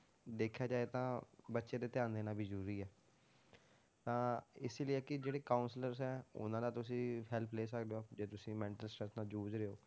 ਦੇਖਿਆ ਜਾਏ ਤਾਂ ਬੱਚੇ ਤੇ ਧਿਆਨ ਦੇਣਾ ਵੀ ਜ਼ਰੂਰੀ ਹੈ, ਤਾਂ ਇਸੇ ਲਈ ਆ ਕਿ ਜਿਹੜੇ counsellors ਹੈ ਉਹਨਾਂ ਦਾ ਤੁਸੀਂ help ਲੈ ਸਕਦੇ ਹੋ, ਜੇ ਤੁਸੀਂ mental stress ਨਾਲ ਜੂਝ ਰਹੇ ਹੋ,